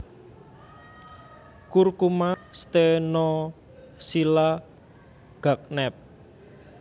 Curcuma stenochila Gagnep